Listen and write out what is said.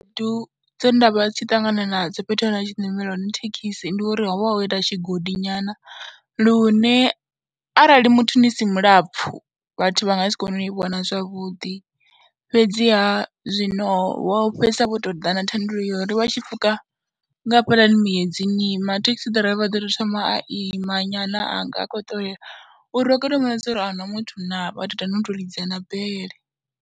Khaedu dze nda vha ndi tshi ṱangana nadzo fhethu he nda vha tshi ṋamela hone thekhisi ndi uri ho vha ho ita tshigodi nyana lune arali muthu ni si mulapfhu vhathu vha nga si kone u ni vhona zwavhuḓi fhedziha zwino vho fhedzisela vho tou ḓa na thandululo ya uri vha tshi pfhuka nga hafhaḽani muedzini ni ima, thekhisi ḓiraiva vha ḓo tou thoma a ima nyana a nga u khou ṱoleaa uri ri kone u mu vhona zwa uri a hu na muthu naa, vha tou ita na u tou lidza na bele.